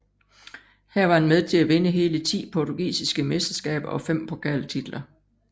Her var han med til at vinde hele ti portugisiske mesteskaber og fem pokaltitler